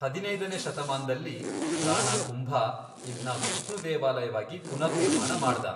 ಹದಿನೈದನೇ ಶತಮಾನ್ದಲ್ಲಿ ರಾಣಾ ಕುಂಭ ಇದ್ನ ವಿಷ್ಣು ದೇವಾಲಯವಾಗಿ ಪುನರ್ನಿರ್ಮಾಣ ಮಾಡ್ದ.